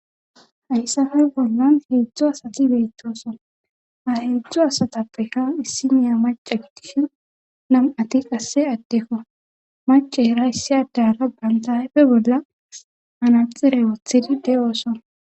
Hayssappe bollan heedzdzu asati beetoosa ha heedzdzu asatappeka issiniya mace gitishi nam7ati qasse addekko macera issi adera banta ayfe bolla manaxire wothidi de7ooso.